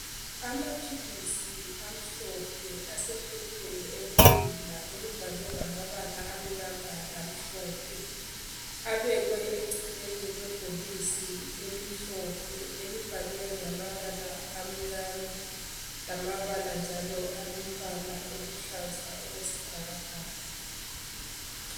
Amaphilisi amhlophe asephepheni elilula elibhalwe ngamabala amnyama lamhlophe , abekwe eceleni kwebhokisi elimhlophe elibhalwe ngamabala amnyama lamabala njalo alombala oluhlaza okwesibhakabhaka